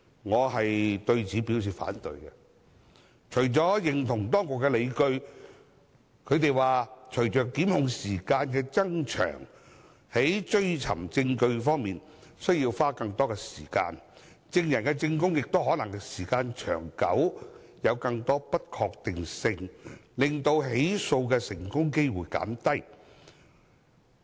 我對此表示反對，並認同當局的理據，即隨着檢控的法定時效限制增長，在追尋證據方面需要花更多時間，證人的證供亦可能因時間久遠有更多不確定性，令成功起訴的機會減低。